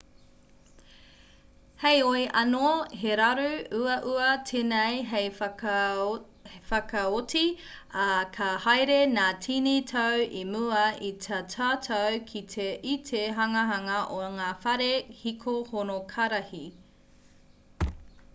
heoi anō he raru uaua tēnei hei whakaoti ā ka haere ngā tini tau i mua i tā tātou kite i te hanganga o ngā whare hiko honokarihi